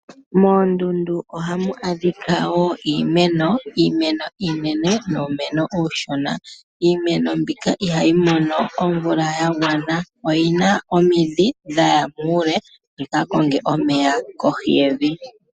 Moondundu ohamu adhika wo iimeno, iimeno iinene nuumeno uushona. Iimeno mbika ihayi mono omvula ya gwana. Oyina omidhi dhaya muule dhika konge omeya kohi yevi.